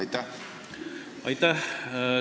Aitäh!